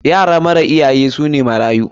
Yara mara iyaye su ne marayu.